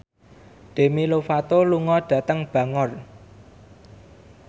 Demi Lovato lunga dhateng Bangor